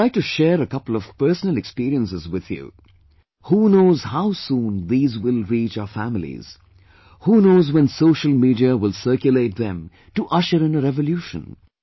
I would like to share a couple of personal experiences with you ... who knows how soon these will reach our families; who knows when social media will circulate them to usher in a revolution